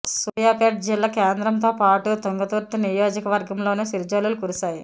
సూర్యాపేట జిల్లా కేంద్రంతో పాటు తుంగతుర్తి నియోజకవర్గంలోనూ చిరుజల్లులు కురిశాయి